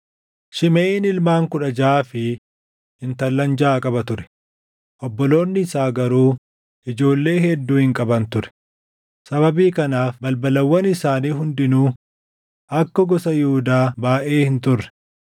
Shimeʼiin ilmaan kudha jaʼaa fi intallan jaʼa qaba ture; obboloonni isaa garuu ijoollee hedduu hin qaban ture; sababii kanaaf balbalawwan isaanii hundinuu akka gosa Yihuudaa baayʼee hin turre.